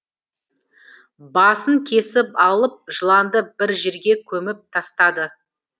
басын кесіп алып жыланды бір жерге көміп тастады